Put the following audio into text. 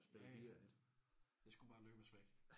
Ja ja. Det skulle bare løbes væk